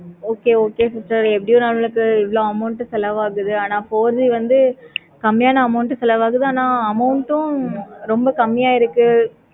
okay okay sister எப்படி நமக்கு எவ்வளோ செலவு ஆகுது? ஆனா வந்து கம்மியான amount குள்ள வர வேணாம். amount க்கு ரொம்ப கம்மியா இருக்கு.